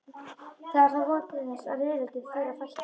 Það er þá von til þess að rifrildum þeirra fækki.